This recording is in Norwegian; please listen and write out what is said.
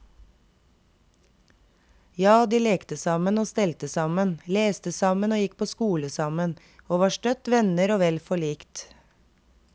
Ja, de lekte sammen og stelte sammen, leste sammen og gikk på skole sammen, og var støtt venner og vel forlikt.